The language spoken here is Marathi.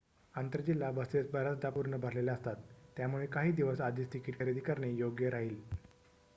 आंतर-जिल्हा बसेस बर्‍याचदा पूर्ण भरलेल्या असतात त्यामुळे काही दिवस आधीच तिकीट खरेदी करणे योग्य राहील